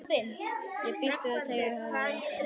Ég býst við að Teitur hafi verið einn af þeim.